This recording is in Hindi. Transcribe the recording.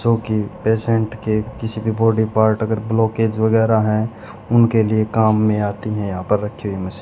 जो कि पेशेंट के किसी भी बॉडी पार्ट अगर ब्लॉकेज वैगेरा है उनके लिए काम मे आती है यहा पर रखी हुयी मशीन --